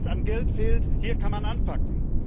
Also wenn es an Geld fehlt, hier kann man anpacken.